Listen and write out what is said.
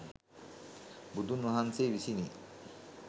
බුදුන් වහන්සේ විසිනි.